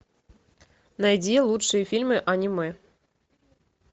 найди лучшие фильмы аниме